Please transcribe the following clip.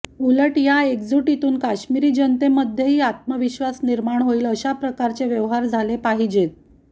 उलट या एकजुटीतून काश्मिरी जनतेमध्येही आत्मविश्वास निर्माण होईल अशाप्रकारचे व्यवहार झाले पाहिजेत